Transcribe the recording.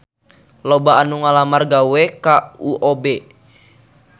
Loba anu ngalamar gawe ka UOB